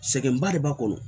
Sɛgɛnba de b'a kɔnɔ